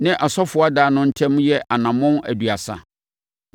ne asɔfoɔ adan no ntam yɛ anammɔn aduasa.